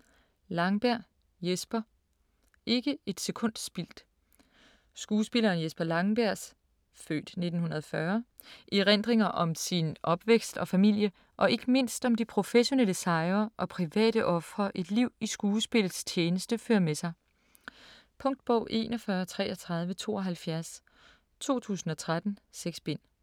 Langberg, Jesper: Ikke et sekund spildt Skuespilleren Jesper Langbergs (f. 1940) erindringer om sin opvækst og familie, og ikke mindst om de professionelle sejre og private ofre et liv i skuespillets tjeneste fører med sig. Punktbog 413372 2013. 6 bind.